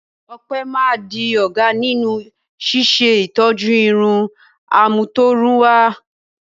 Ope máa di ọ̀gá nínú ṣíṣe ìtọ́jú irun àmútọ̀runwá.